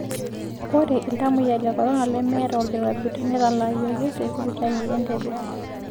Ore iltamoyiak le korona lemeeeta olkirobi netalaayioki te sipitali e Entebbe.